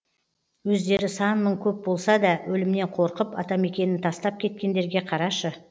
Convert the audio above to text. өздері сан мың көп болса да өлімнен қорқып атамекенін тастап кеткендерге қарашы